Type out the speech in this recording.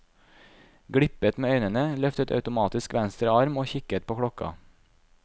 Glippet med øynene, løftet automatisk venstre arm og kikket på klokka.